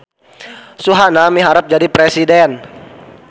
Suhana miharep jadi presiden